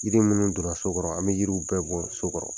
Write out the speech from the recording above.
Yiri minnu don na so kɔrɔ an bɛ yiriw bɛɛ bɔ so kɔrɔ.